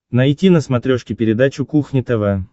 найти на смотрешке передачу кухня тв